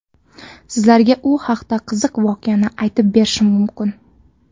Sizlarga u haqda qiziq voqeani aytib berishim mumkin.